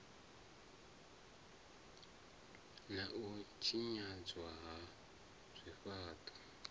na u tshinyadzwa ha zwifhaṱo